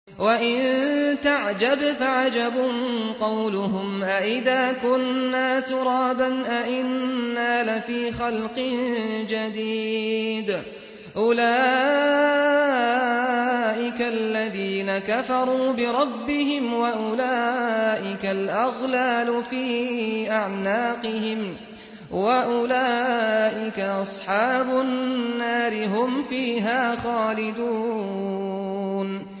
۞ وَإِن تَعْجَبْ فَعَجَبٌ قَوْلُهُمْ أَإِذَا كُنَّا تُرَابًا أَإِنَّا لَفِي خَلْقٍ جَدِيدٍ ۗ أُولَٰئِكَ الَّذِينَ كَفَرُوا بِرَبِّهِمْ ۖ وَأُولَٰئِكَ الْأَغْلَالُ فِي أَعْنَاقِهِمْ ۖ وَأُولَٰئِكَ أَصْحَابُ النَّارِ ۖ هُمْ فِيهَا خَالِدُونَ